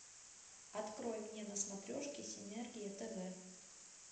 открой мне на смотрешке синергия тв